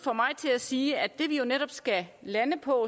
til at sige at det vi jo netop skal lande på